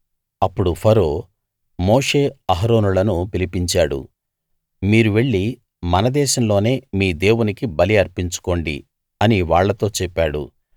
అప్పుడు ఫరో మోషే అహరోనులను పిలిపించాడు మీరు వెళ్లి మన దేశంలోనే మీ దేవునికి బలి అర్పించుకోండి అని వాళ్ళతో చెప్పాడు